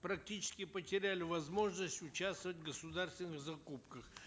практически потеряли возможность участвовать в государственных закупках